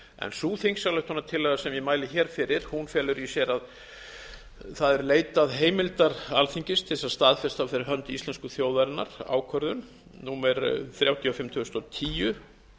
sú þingsályktunartillaga sem ég mæli hér fyrir felur í sér að það er leitað heimildar alþingis til þess að staðfesta fyrir hönd íslensku þjóðarinnar ákvörðun númer þrjátíu og fimm tvö þúsund og tíu